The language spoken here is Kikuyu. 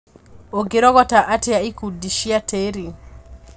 ũngĩrogota atĩa ikundi cia tĩri.